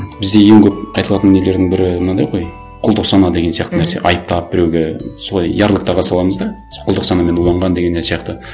бізде ең көп айтылатын нелердің бірі мынандай ғой құлдық сана деген сияқты нәрсе айыптап біреуге солай ярлык таға саламыз да құлдық санамен уланған деген не сияқты